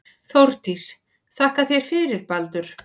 Þórdís: Þakka þér fyrir Baldur.